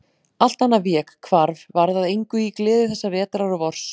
Allt annað vék, hvarf, varð að engu í gleði þessa vetrar og vors.